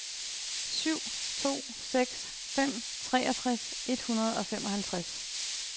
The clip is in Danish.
syv to seks fem treogtres et hundrede og femoghalvtreds